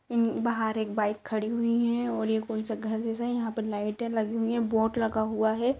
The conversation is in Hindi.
उम बाहर एक बाइक खड़ी हुई है और ये कोई सा घर जैसा है यहां पर लाइटें लगी हुई है बोर्ड लगा हुआ है।